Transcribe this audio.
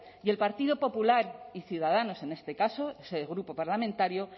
y el partido popular y ciudadanos en este caso su grupo parlamentario